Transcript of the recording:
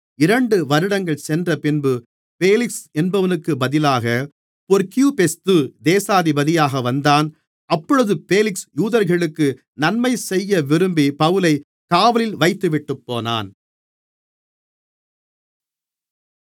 இரண்டு வருடங்கள் சென்றபின்பு பேலிக்ஸ் என்பவனுக்குப் பதிலாக பொர்க்கியுபெஸ்து தேசாதிபதியாக வந்தான் அப்பொழுது பேலிக்ஸ் யூதர்களுக்கு நன்மைசெய்ய விரும்பி பவுலைக் காவலில் வைத்துவிட்டுப்போனான்